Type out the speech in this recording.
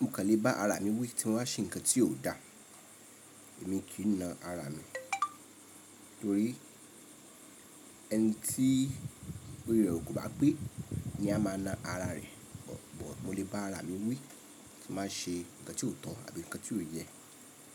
Mo kàn lè bá ara mi wí tí wọ́n á ṣe nǹkan tí ò da. Èmi kì í na ara mi ẹni tí orí rẹ̀ ò ko bá pé ni a máa na ara rẹ̀. Mo lẹ́ bá ara mi wí tín bá ṣe nǹkan tí ò tọ̀ àbí nǹkan tí ò yẹ.